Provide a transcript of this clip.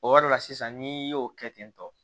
O yɔrɔ la sisan n'i y'o kɛ ten tɔ